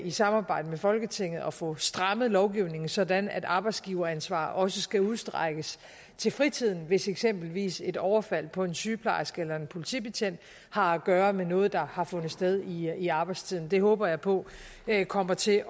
i samarbejde med folketinget at få strammet lovgivningen sådan at arbejdsgiveransvar også skal udstrækkes til fritiden hvis eksempelvis et overfald på en sygeplejerske eller en politibetjent har at gøre med noget der har fundet sted i arbejdstiden det håber jeg på kommer til